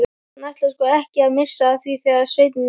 Hann ætlaði sko ekki að missa af því þegar Svenni